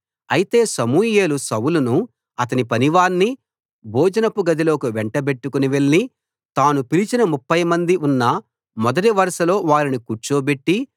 అయితే సమూయేలు సౌలును అతని పనివాణ్ణి భోజనపు గదిలోకి వెంటబెట్టుకుని వెళ్ళి తాను పిలిచిన ముప్ఫై మంది ఉన్న మొదటి వరుసలో వారిని కూర్చోబెట్టి